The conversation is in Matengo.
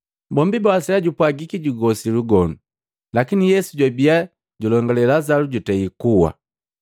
Bombi bawasalya jupwagiki jugosi lugonu, lakini Yesu jwabi julongale Lazalu jutei kuwa.